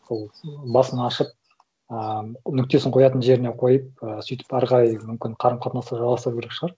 сол басын ашып ыыы нүктесін қоятын жеріне қойып ы сөйтіп ары қарай мүмкін қарым қатынасты жалғастыру керек шығар